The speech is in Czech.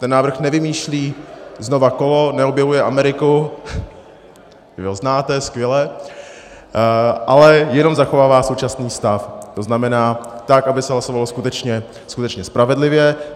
Ten návrh nevymýšlí znovu kolo, neobjevuje Ameriku, vy ho znáte, skvělé, ale jenom zachovává současný stav, to znamená tak, aby se hlasovalo skutečně spravedlivě.